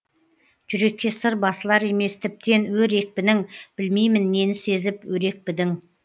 жүрекке сыр басылар емес тіптен өр екпінің білмеймін нені сезіп өрекпідің